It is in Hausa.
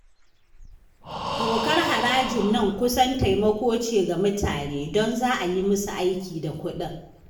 Dokar harajin nan kusan taimako ce ga mutane, don za a yi musu aiki da kuɗin